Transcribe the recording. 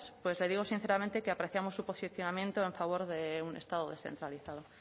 pues le digo sinceramente que apreciamos su posicionamiento en favor de un estado descentralizado